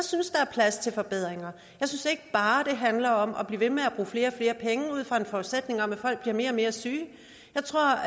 synes der er plads til forbedringer jeg synes ikke bare det handler om at blive ved med at bruge og flere penge ud fra en forudsætning om at folk bliver mere og mere syge jeg tror